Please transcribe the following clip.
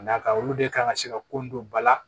N'a ka olu de kan ka se ka ko in don ba la